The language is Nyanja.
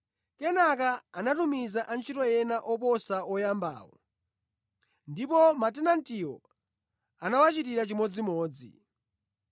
Kenaka anatumiza antchito ena oposa oyambawo ndipo matenantiwo anawachitira chimodzimodzi.